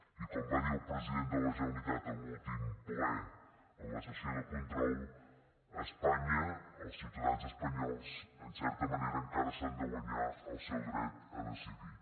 i com va dir el president de la generalitat en l’últim ple en la sessió de control espanya els ciutadans espanyols en certa manera encara s’han de guanyar el seu dret a decidir